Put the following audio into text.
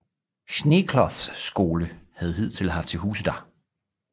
Schneekloths Skole havde hidtil haft til huse dér